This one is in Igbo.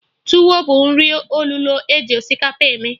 Tuwo bụ nri olulo eji osikapa eme